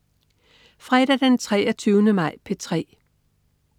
Fredag den 23. maj - P3: